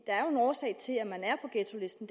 er jo en årsag til at man er på ghettolisten